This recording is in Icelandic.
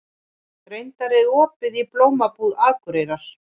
Reynar, er opið í Blómabúð Akureyrar?